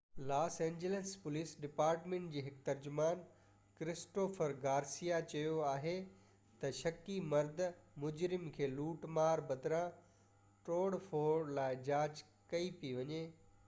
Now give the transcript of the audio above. Los Angeles police department جي هڪ ترجمان ڪرسٽوفر گارسيا چيو آهي ته شڪي مرد مجرم کي لوٽ مار بدران توڙ ڦوڙ لاءِ جاچ ڪئي پئي وڃي